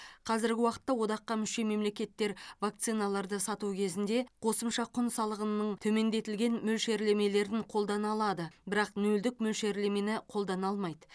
қазіргі уақытта одаққа мүше мемлекеттер вакциналарды сату кезінде қосымша құн салығының төмендетілген мөлшерлемелерін қолдана алады бірақ нөлдік мөлшерлемені қолдана алмайды